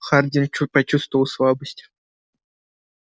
хардин почувствовал слабость